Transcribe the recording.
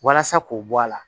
Walasa k'o bɔ a la